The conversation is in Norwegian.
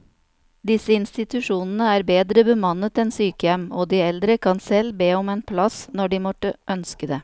Disse institusjonene er bedre bemannet enn sykehjem, og de eldre kan selv be om en plass når de måtte ønske det.